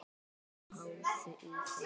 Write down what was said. Spáðu í það.